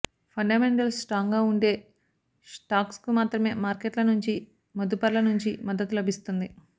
fundamentals స్ట్రాంగ్గా ఉండే స్టాక్స్కు మాత్రమే మార్కెట్ల నుంచి మదుపర్ల నుంచి మద్దతు లభిస్తుంది